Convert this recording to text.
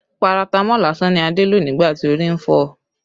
Paratamọ́ọ̀ lásán ni Adé lò nígbà tí orí ń fọ́ ọ